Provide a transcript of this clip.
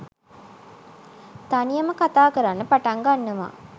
තනියම කතා කරන්න පටන් ගන්නවා